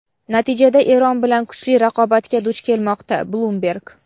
natijada Eron bilan kuchli raqobatga duch kelmoqda – "Bloomberg".